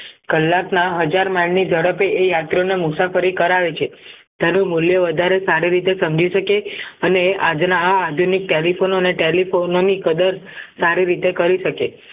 કલાકના હજાર માળની ઝડપે એ યાત્રાઓને મુસાફરી કરાવે છે તેનું મૂલ્ય વધારે સારી રીતે સમજી શકે અને આજના આધુનિક telephone અને telephone ની કદર સારી રીતે કરી શકે